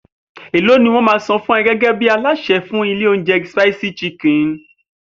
Èló ni wó̩n á máa san fún o̩ gé̩gé̩ bí alásè̩ ní ilé oúnje̩ Spicy Chicken?